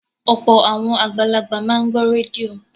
Ọ̀pọ̀ àwọn àgbàlagbà máa ń gbọ́ rédíò